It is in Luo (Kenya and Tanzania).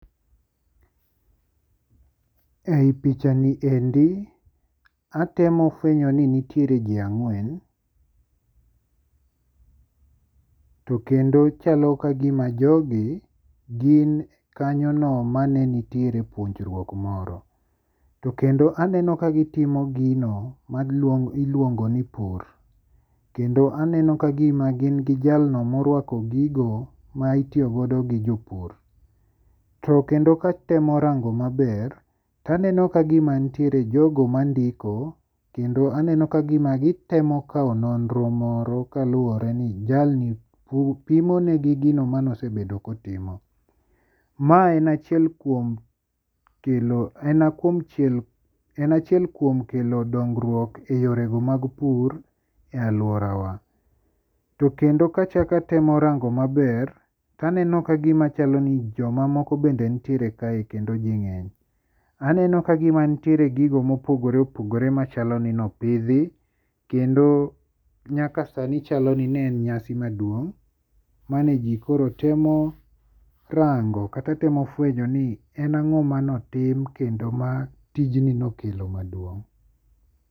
Ei pichani ni endi atemo fwenyo ni nitie ji ang'wen to kendo chalo ka gima jogi gin kanyono mane nitie e chokruok moro, to kendo aneno ka gitimo gino ma iluongo ni pur, to kendo aneno ka aneno ka gima gi jalno maruako gigo ma itiyo godo gi jopur, to kendo katemo rang'o maber taneno ka gima nitiere jogo mandiko kendo aneno ka gima gitemo kawo nonro moro kaluwore ni jalni pimo ne gi gino manosebedo kotimo, mae en achiel kuom kelo dongruok e yore go mag pur e aluorawa, to kendo kachako atemo rang'o maber ,to aneno ka gima chalo ni joma moko bende nitiere kae kendo ji ng'eny, aneno ka gima nitiere gigo mopogore opogore machalo ni nopidhi kendo nyaka sani chalo ni ne en nyasi maduong mane ji koro temo rang'o kata temo fwenyo ni en ang'o mane otim kendo ma tijni nokelo maduong'